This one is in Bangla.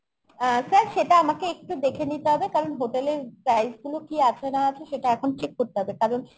অ্যাঁ sir সেটা আমাকে একটু দেখে নিতে হবে কারণ hotel এর price গুলো কি কি আছে না আছে সেটা এখন check করতে হবে কারণ